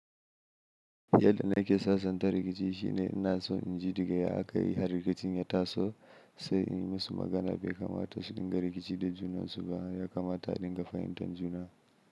Yadda nake sasanta rikici shine ina so inji da ga ya aka yi har rikicin ya taso sai in yi musu magana bai kamata su dinga rikici da junansu ba, ya kamata a dinga fahimtar juna.